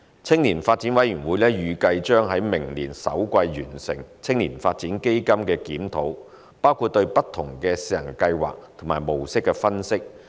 青年發展委員會預計將在明年首季完成青年發展基金的檢討，包括對不同的試行計劃和模式的分析。